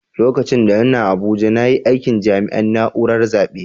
Lokacin da n'na Abuja na yi aikin jami'in naúrar zabe.